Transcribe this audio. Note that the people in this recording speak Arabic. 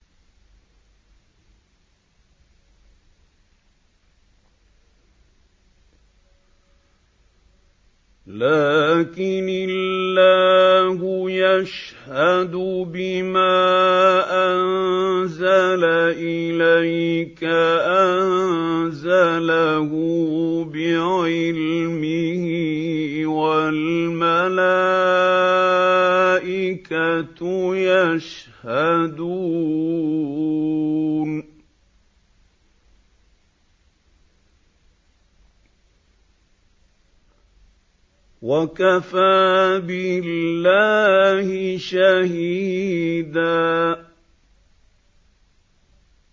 لَّٰكِنِ اللَّهُ يَشْهَدُ بِمَا أَنزَلَ إِلَيْكَ ۖ أَنزَلَهُ بِعِلْمِهِ ۖ وَالْمَلَائِكَةُ يَشْهَدُونَ ۚ وَكَفَىٰ بِاللَّهِ شَهِيدًا